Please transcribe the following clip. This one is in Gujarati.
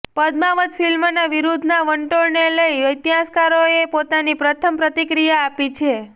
પદ્માવત ફિલ્મના વિરોધના વંટોળને લઈ ઇતિહાસકારોએ પોતાની પ્રથમ પ્રતિક્રિયા આપી છે